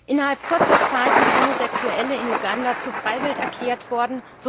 Innerhalb kurzer Zeit sind Homosexuelle in Uganda zu Freiwild erklärt worden.